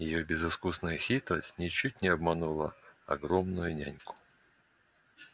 её безыскусная хитрость ничуть не обманула огромную няньку